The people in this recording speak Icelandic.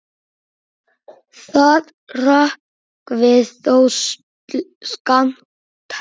Það hrökkvi þó skammt.